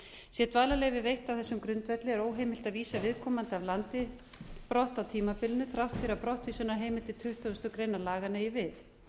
sé dvalarleyfi veitt á þessum grundvelli er óheimilt að vísa viðkomandi af landi brott á tímabilinu þrátt fyrir að brottvísunarheimild tuttugustu greinar laganna eigi við